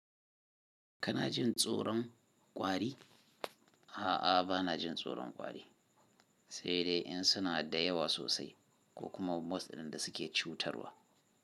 Kana jin tsoron kwari? A'a, ba na jin tsoron kwari, sai dai in suna da yawa sosai ko kuma most ɗun da suke cutarwa.